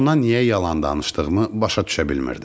Ona niyə yalan danışdığımı başa düşə bilmirdim.